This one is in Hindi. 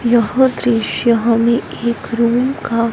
यह दृश्य हमें एक रूम का--